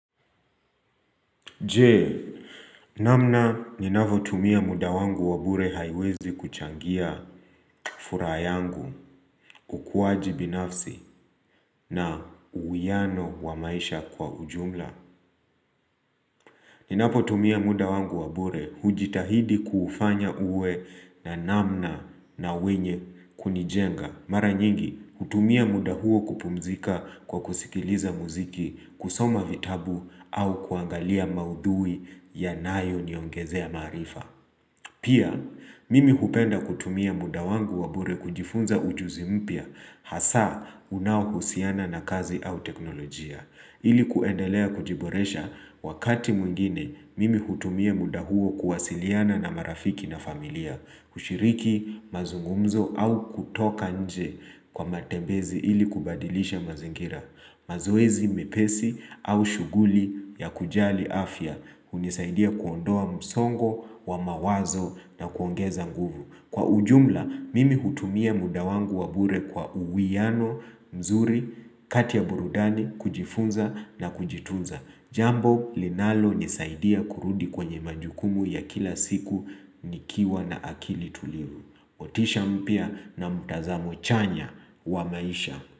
Jee, namna ninavotumia muda wangu wa bure haiwezi kuchangia furaa yangu ukuaji binafsi na uwiano wa maisha kwa ujumla. Ninapotumia muda wangu wa bure hujitahidi kufanya uwe na namna na wenye kunijenga. Mara nyingi, hutumia muda huo kupumzika kwa kusikiliza muziki, kusoma vitabu au kuangalia maudhui yanayoniongezea maarifa. Pia, mimi hupenda kutumia muda wangu wa bure kujifunza ujuzi mpya hasa unaohusiana na kazi au teknolojia. Ili kuendelea kujiboresha wakati mwingine mimi hutumia muda huo kuwasiliana na marafiki na familia, kushiriki mazungumzo au kutoka nje kwa matembezi ili kubadilisha mazingira. Mazoezi mepesi au shughuli ya kujali afya hunisaidia kuondoa msongo wa mawazo na kuongeza nguvu. Kwa ujumla, mimi hutumia muda wangu wa bure kwa uwiano, mzuri, kati ya burudani, kujifunza na kujitunza. Jambo, linalonisaidia kurudi kwenye majukumu ya kila siku nikiwa na akili tulivu. Motisha mpya na mtazamo chanya wa maisha.